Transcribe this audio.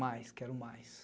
Mais, quero mais.